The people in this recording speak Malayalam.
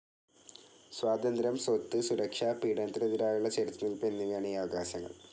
സ്വാതന്ത്ര്യം, സ്വത്ത്, സുരക്ഷ, പീഡനത്തിനെതിരായുള്ള ചെറുത്തുനില്പ് എന്നിവയാണ് ഈ അവകാശങ്ങൾ